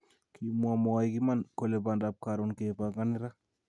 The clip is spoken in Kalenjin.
Kimwa mwoik iman kole bandap Karon kepangani ra